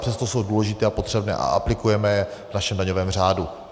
Přesto jsou důležité a potřebné a aplikujeme je v našem daňovém řádu.